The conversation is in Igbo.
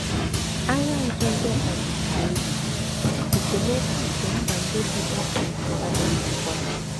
Agha Nzuzo ka bisiri ebi, esemokwu nke mba ndị bụ́ dike adịghịzikwa.